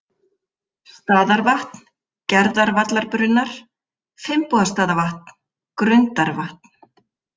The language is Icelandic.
Staðarvatn, Gerðavallabrunnar, Finnbogastaðavatn, Grundarvatn